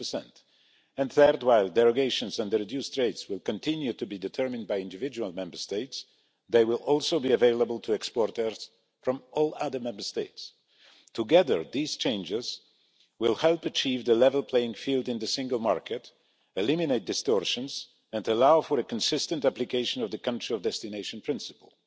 12. Thirdly, while the derogations and the reduced rates will continue to be determined by individual Member States, they will also be available to exporters from all other Member States. Together, these changes will help achieve a level playing field in the single market, eliminate distortions and allow for a consistent application of the country of destination principle.